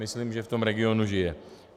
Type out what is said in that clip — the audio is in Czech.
Myslím, že v tom regionu žije.